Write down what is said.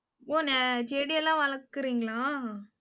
ஓ, செடி எல்லாம் வளர்க்கிறீங்களா